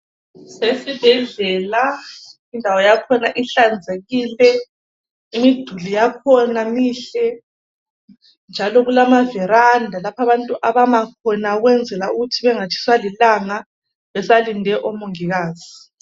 Kusesibhedlela indawo yakhona ihlanzekile imiduli yakhona mihle njalo kulama veranda lapho abantu abama khona ukwenzela ukuthi bengatshiswa lilanga besalinde omongikazi.